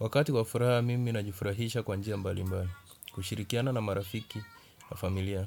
Wakati kwa furaha, mimi na jifurahisha kwa njia mbali mbali, kushirikiana na marafiki na familia,